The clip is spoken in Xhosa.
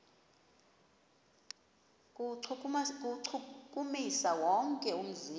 kuwuchukumisa wonke umzimba